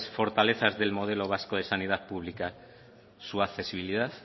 fortalezas del modelo vasco de sanidad pública su accesibilidad